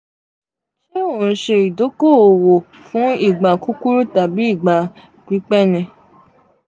ṣe o n ṣe idoko-owo fun igba kukuru tabi igba pipẹ?